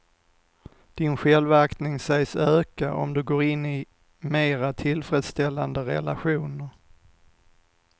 Din självaktning sägs öka och du går in i mera tillfredsställande relationer.